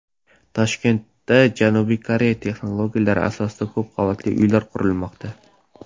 Toshkentda Janubiy Koreya texnologiyalari asosida ko‘p qavatli uy qurilmoqda.